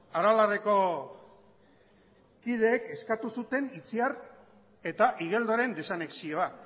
aralarreko kideek eskatu zuten itziar eta igeldoren desanexioa